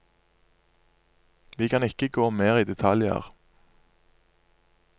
Vi kan ikke gå mer i detaljer.